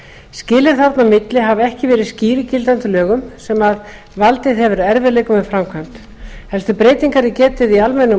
skilin þarna á milli hafa ekki verið skýr í gildandi lögum sem valdið hefur erfiðleikum við framkvæmd helstu breytinga er getið í almennum